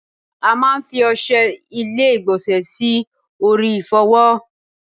A máa fi Oṣé ilé igbonse sì orí ifowo